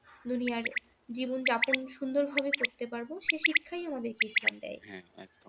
দুনিয়ার জীবন যাপন সুন্দরভাবে করতে পারবো সে শিক্ষাই আমাদেরকে ইসলাম দেয়।